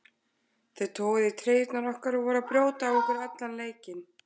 Þeir toguðu í treyjurnar okkar og voru að brjóta á okkur allan leikinn.